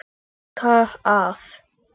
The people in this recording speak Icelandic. Þurrka af.